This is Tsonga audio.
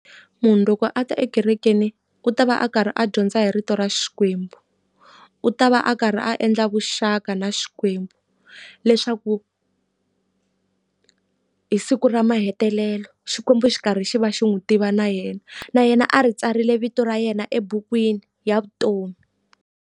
Munhu loko a ta ekerekeni u ta va a karhi a dyondza hi rito ra Xikwembu. U ta va a karhi a endla vuxaka na xikwembu leswaku hi siku ra mahetelelo Xikwembu xi karhi xi va xi n'wi tiva na yena. Na yena a ri tsarile vito ra yena ebukwini ya vutomi.